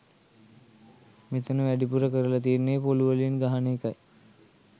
මෙතන වැඩිපුර කරලා තියෙන්නේ පොලුවලින් ගහන එකයි.